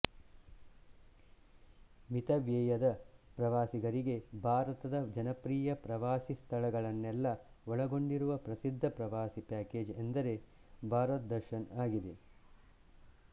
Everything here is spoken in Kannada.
ಮಿತವ್ಯಯದ ಪ್ರವಾಸಿಗರಿಗೆ ಭಾರತದ ಜನಪ್ರಿಯ ಪ್ರವಾಸಿ ಸ್ಥಳಗಳನ್ನೆಲ್ಲಾ ಒಳಗೊಂಡಿರುವ ಪ್ರಸಿದ್ಧ ಪ್ರವಾಸ ಪ್ಯಾಕೇಜ್ ಎಂದರೆ ಭಾರತ್ ದರ್ಶನ್ ಆಗಿದೆ